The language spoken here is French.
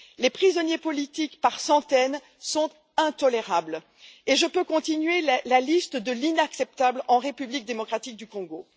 La détention de prisonniers politiques, par centaines, est intolérable et je peux continuer la liste de l'inacceptable en République démocratique du Congo.